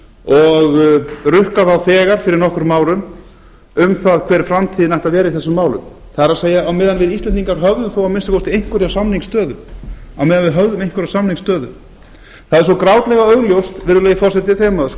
og rukkað þá þegar fyrir nokkrum árum um það hver framtíðin ætti að vera í þessum málum það er meðan við íslendingar höfðum þó að minnsta kosti einhverja samningsstöðu á meðan við höfðum einhverja samningsstöðu það er svo grátlega augljóst virðulegi forseti þegar maður